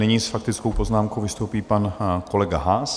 Nyní s faktickou poznámkou vystoupí pan kolega Haas.